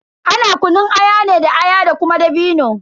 Ana kunun aya ne da aya da kuma dabino.